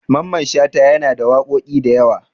Mamman Shata yana da waƙoƙi da yawa.